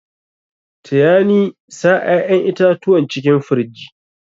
Taya ni sa ƴaƴan itatuwan cikin firij.